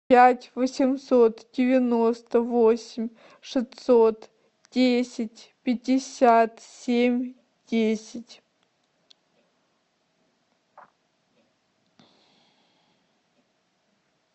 пять восемьсот девяносто восемь шестьсот десять пятьдесят семь десять